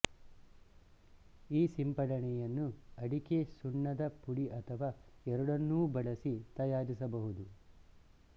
ಈ ಸಿಂಪಡಣೆಯನ್ನು ಅಡಿಕೆ ಸುಣ್ಣದ ಪುಡಿ ಅಥವಾ ಎರಡನ್ನೂ ಬಳಸಿ ತಯಾರಿಸಬಹುದು